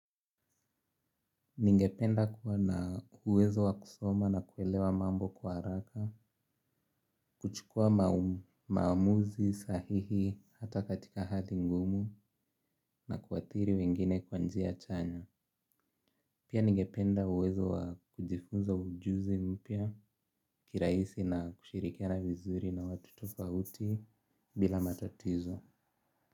Ningependa kuwa na uwezo wa kusoma na kuelewa mambo kwa haraka, kuchukua maamuzi sahihi hata katika hali ngumu na kuathiri wengine kwa njia chanya. Pia ningependa uwezo wa kujifunza ujuzi mpya kirahisi na kushirikiana vizuri na watu tofauti bila matatizo.